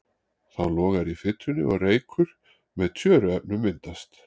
Þá logar í fitunni og reykur með tjöruefnum myndast.